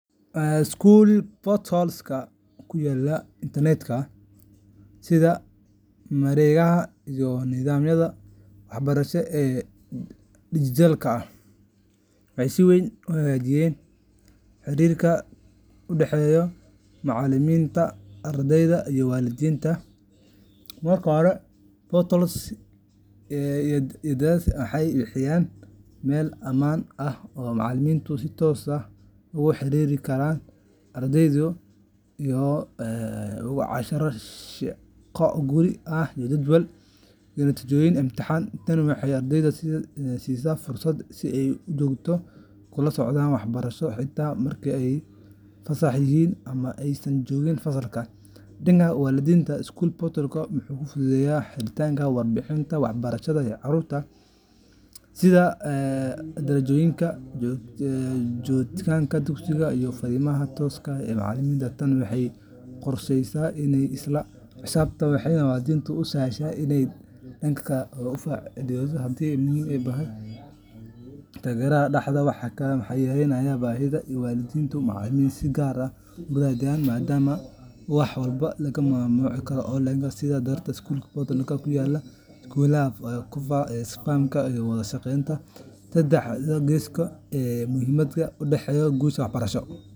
School portals-ka ku yaalla internet-ka sida mareegaha iyo nidaamyada waxbarashada ee digital-ka ah waxay si weyn u hagaajiyeen xiriirka u dhexeeya macallimiinta, ardayda, iyo waalidiinta. Marka hore, portals-yadaasi waxay bixiyaan meel ammaan ah oo macallimiintu si toos ah ugu wada xiriiri karaan ardayda, iyagoo u diraya casharro, shaqo guri, jadwal, iyo natiijooyin imtixaan. Tani waxay ardayda siisaa fursad ay si joogto ah ula socdaan waxbarashadooda xitaa marka ay fasax yihiin ama aysan joogin fasalka. Dhanka waalidiinta, school portal-ku wuxuu fududeeyaa helidda warbixinnada waxbarashada ee carruurtooda, sida darajooyinka, joogitaanka dugsiga, iyo fariimaha tooska ah ee macallimiinta. Tani waxay kordhisaa isla-xisaabtanka, waxayna waalidiinta u sahlaysaa inay si dhakhso ah uga falceliyaan haddii ilmuhu u baahan yahay taageero dheeraad ah. Waxa kale oo portals-ku fududeeyaan isgaarsiinta, iyagoo yareynaya baahida in waalid ama macallin si gaar ah isku raadiyaan, maadaama wax walba laga maamuli karo online. Sidaas darteed, school portals-ku waa aalado muhiim ah oo kor u qaada hufnaanta, is-fahanka, iyo wada-shaqeynta saddex-geesoodka ah ee muhiimka u ah guusha waxbarasho.